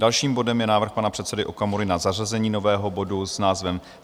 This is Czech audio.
Dalším bodem je návrh pana předsedy Okamury na zařazení nového bodu s názvem